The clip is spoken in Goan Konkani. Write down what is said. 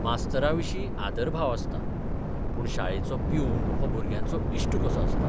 मास्तराविशीं आदरभाव आसता, पूण शाळेचो प्यून हो भुरग्यांचो इश्ट कसो आसता.